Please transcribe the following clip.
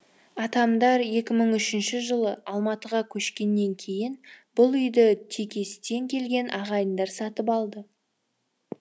атамдар екі мың үшінші жылы алматыға көшкеннен кейін бұл үйді текестен келген ағайындар сатып алды